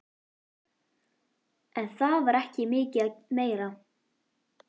En það var ekki mikið meira.